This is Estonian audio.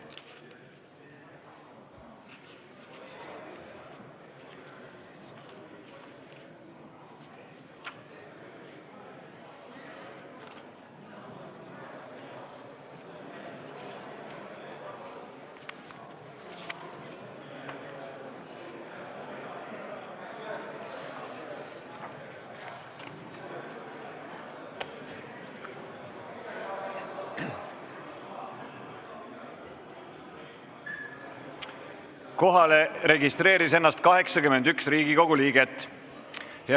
Kohaloleku kontroll Kohalolijaks registreeris ennast 81 Riigikogu liiget.